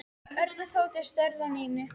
Örn og Tóti störðu á Nínu.